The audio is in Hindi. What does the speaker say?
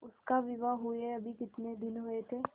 उसका विवाह हुए अभी कितने दिन हुए थे